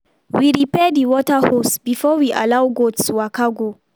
we repair the water hose before we allow goats waka go.